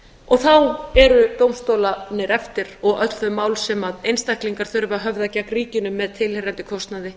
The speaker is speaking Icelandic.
og þá eru dómstólarnir eftir og öll þau mál sem einstaklingar þurfa að höfða gegn ríkinu með tilheyrandi kostnaði